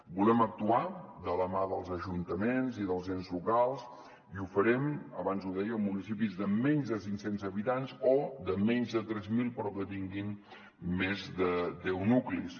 volem actuar de la mà dels ajuntaments i dels ens locals i ho farem abans ho deia amb municipis de menys de cinc cents habitants o de menys de tres mil però que tinguin més de deu nuclis